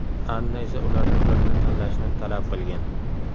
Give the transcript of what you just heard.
Anna esa ulardan birini tanlashni talab qilgan.